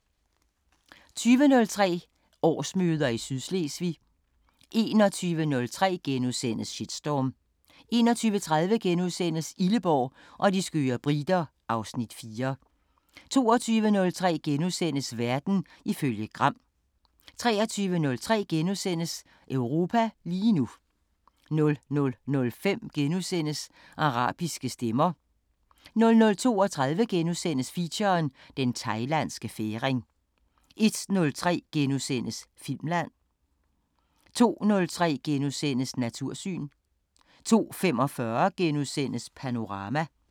20:03: Årsmøder i Sydslesvig 21:03: Shitstorm * 21:30: Illeborg og de skøre briter (Afs. 4)* 22:03: Verden ifølge Gram * 23:03: Europa lige nu * 00:05: Arabiske Stemmer * 00:32: Feature: Den Thailandske Færing * 01:03: Filmland * 02:03: Natursyn * 02:45: Panorama *